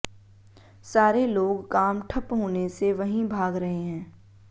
सारे लोग काम ठप्प होने से वहीं भाग रहे हैं